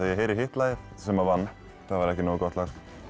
heyri hitt lagið sem vann það var ekki nógu gott lag